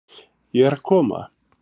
Ég er að koma.